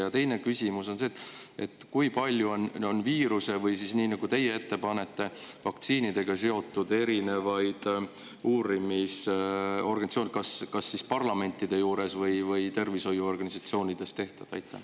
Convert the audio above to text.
Ja teine küsimus on see, kui palju on viiruse või siis vaktsiinidega, nagu teie ette panete, seotud erinevaid uurimisorganisatsioone kas siis parlamentide juurde või tervishoiuorganisatsioonidesse tehtud.